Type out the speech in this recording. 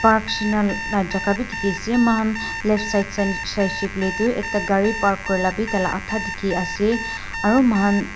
Park sin lah jaga bhi dikhi ase moikhan left side side teh Saise koile tu ekta gari park kuri lah bhi adha dikhi ase aru moihan --